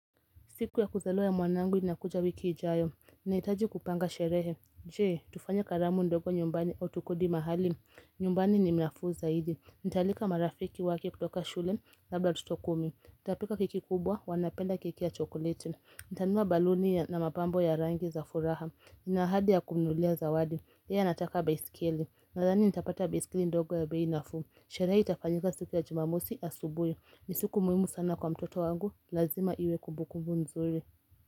Siku ya kuzaliwa ya mwanangu inakuja wiki ijayo. Naitaji kupanga sherehe. Je, tufanye karamu ndogo nyumbani au tukodi mahali. Nyumbani ni nafuu zaidi. Nitaalika marafiki wake kutoka shule labda watoto kumi. Nitapika keki kubwa wanapenda keki ya chokoleti. Nitanunua baluni na mapambo ya rangi za furaha. Nina ahadi ya kumununulia zawadi. Yeye anataka baisikeli. Nathani nitapata baisikeli ndogo ya bei nafuu. Sherehe itafanyika siku ya jumamosi asubuhi. Ni siku muhimu sana kwa mtoto wangu, lazima iwe kumbukumbu nzuri.